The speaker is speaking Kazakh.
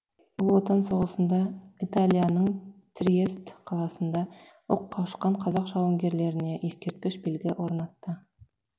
ұлы отан соғысында италияның триест қаласында оққа ұшқан қазақ жауынгерлеріне ескерткіш белгі орнатты